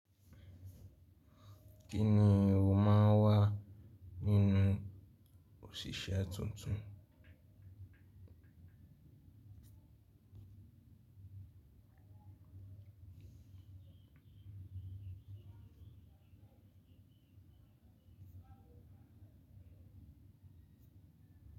Kí ni o máa ń wá nínú òṣìṣẹ́ tuntun?